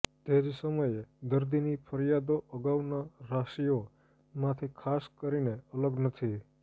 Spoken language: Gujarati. તે જ સમયે દર્દીની ફરિયાદો અગાઉના રાશિઓ માંથી ખાસ કરીને અલગ નથી